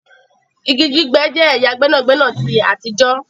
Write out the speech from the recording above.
Ìgi gbígbẹ̀ jẹ́ ẹ̀yà gbẹnagbẹna tí àtijọ̀